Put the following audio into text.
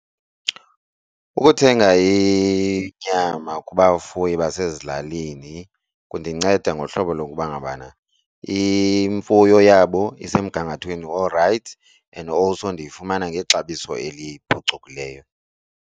Ukuthenga inyama kubafuyi basezilalini kundinceda ngohlobo lokuba ngabana imfuyo yabo isemgangathweni orayithi and also ndiyifumana ngexabiso eliphucukileyo.